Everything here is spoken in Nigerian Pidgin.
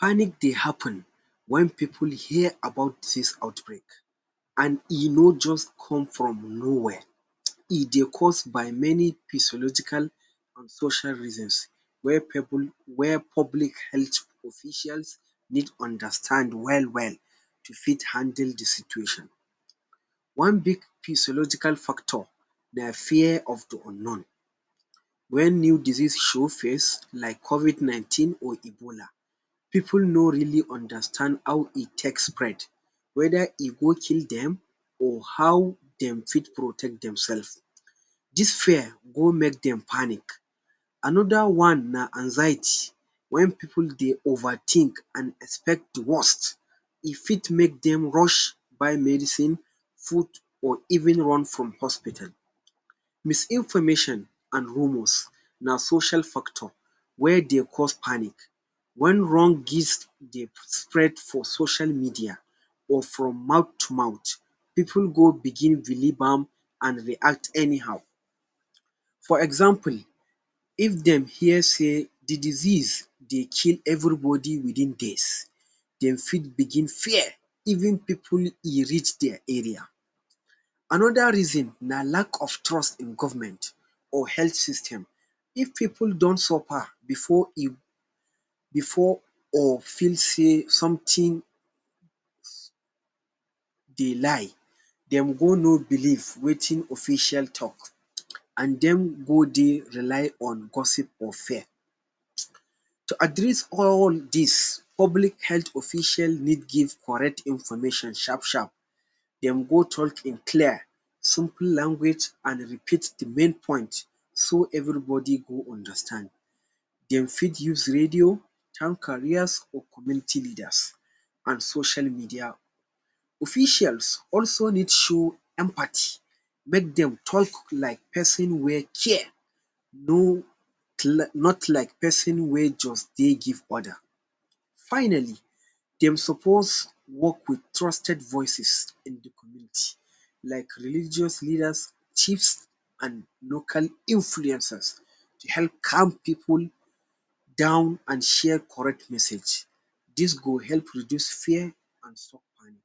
Panic dey happen wen pipu hear about disease outbreak an e no juz come from nowhere. E dey cause by many physiological an social reasons wey pipu wey public health officials need understand well-well to fit handle the situation. One big physiological factor na fear of the unknown. Wen new disease show face like covid nineteen or ebola, pipu no really understand how e take spread, whether e go kill dem, or how dem fit protect demsef. Dis fear go make dem panic. Another one na anxiety. Wen pipu dey overthink an expect the worst, e fit make dem rush buy medicine, food or even run from hospital. Misinformation an rumors na social factor wey dey cause panic. Wen wrong gist dey spread for social media or from mouth to mouth, pipu go begin believe am an react anyhow. For example, if dem hear sey the disease dey kill everybody within days, dem fit begin fear even pipu e reach dia area. Another reason na lack of trust in government or health system. If pipu don suffer before before or feel sey something dey lie, dem go no believe wetin official talk an dem go dey rely on gossip or fear. To address all dis, public health official need give correct information sharp-sharp. Dem go talk in clear simple language an repeat the main point so everybody go understand. Dem fit use radio, town carriers, or community leaders, an social media. Officials also need show empathy—make dem talk like pesin wey care, no not like pesin wey juz dey give order. Finally, dem suppose work with trusted voices in the community like religious leaders, chiefs, an local influencers to help calm pipu down an share correct message. Dis go help reduce fear an stop panic.